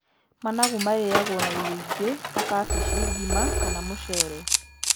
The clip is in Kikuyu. Managu marĩyagwo na irio ingĩ ta cabaci, ngima kana mũcere.